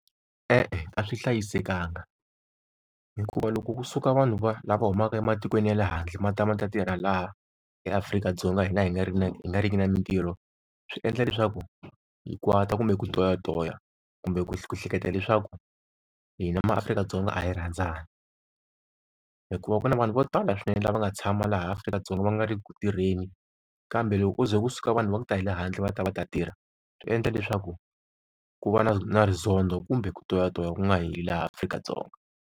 E-e a swi hlayisekanga, hikuva loko kusuka vanhu va lava humaka ematikweni ya le handle ma ta ma ta tirha laha eAfrika-Dzonga hina, hi nga ri na, nga riki na mitirho swi endla leswaku hi kwata kumbe ku toyitoya kumbe ku hleketa leswaku hina ma-Afrika-Dzonga a hi rhandzani. Hikuva ku na vanhu vo tala swinene lava nga tshama laha Afrika-Dzonga va nga ri ku tirheni. Kambe loko ko ze kusuka vanhu va ku ta hi le handle va ta va ta tirha swi endla leswaku ku va na na rizondho kumbe ku toyitoya ku nga heli laha Afrika-Dzonga.